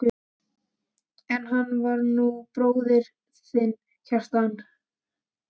En hann er nú bróðir þinn, Kjartan.